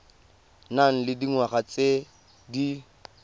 nang le dingwaga tse di